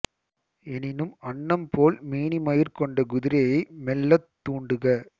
எனினும் அன்னம் போல் மேனிமயிர் கொண்ட குதிரையை மெல்லத் தூண்டுக